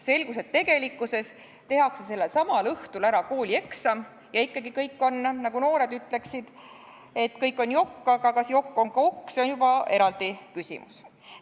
Selgus, et tegelikkuses tehakse sellel samal õhtul ära koolieksam ja ikkagi – nagu noored ütleksid – kõik on jokk, aga kas jokk on ka OK, see on juba eraldi küsimus.